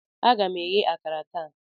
Aga m eghe akara taa.